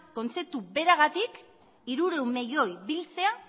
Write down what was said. kontzeptu beragatik hirurehun milioi biltzea